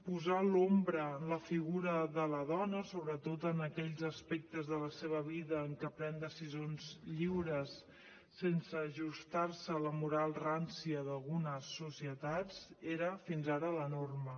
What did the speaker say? posar l’ombra en la figura de la dona sobretot en aquells aspectes de la seva vida en què pren decisions lliures sense ajustar se a la moral rància d’algunes societats era fins ara la norma